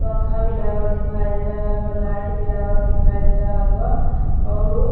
फंखा भी लागल दिखाई दे रहल बा। लाइट भी लागल दिखाई दे रहल बा अऊर --